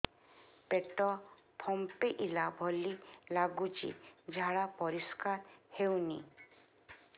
ପେଟ ଫମ୍ପେଇଲା ଭଳି ଲାଗୁଛି ଝାଡା ପରିସ୍କାର ହେଉନି